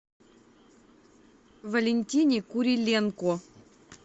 валентине куриленко